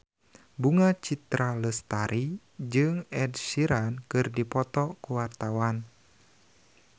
Bunga Citra Lestari jeung Ed Sheeran keur dipoto ku wartawan